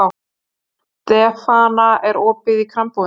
Stefana, er opið í Krambúðinni?